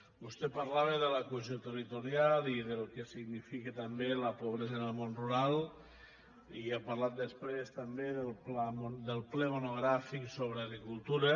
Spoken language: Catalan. vostè parlava de la cohesió territorial i del que significa també la pobresa en el món rural i ha parlat després també del ple monogràfic sobre agricultura